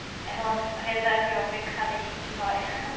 এখন result এর অপেক্ষা, দেখি কি হয়